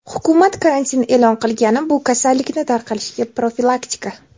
Hukumat karantin e’lon qilgani bu kasallikni tarqalishiga profilaktika.